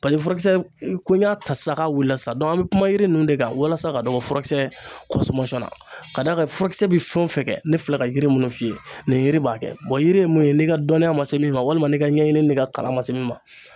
Paseke furakisɛ ko n y'a ta sisan k'a wulila sisan an mi kuma yiri ninnu de kan walasa ka dɔ bɔ furakisɛ na ka d'a ka furakisɛ bɛ fɛn o fɛn kɛ ne filɛ ka yiri minnu f'i ye nin yiri b'a kɛ yiri nun ye n'i ka dɔnniya man se min ma walima n'i ka ɲɛɲini n'i ka kalan man se min ma